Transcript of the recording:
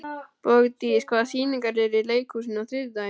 Bogdís, hvaða sýningar eru í leikhúsinu á þriðjudaginn?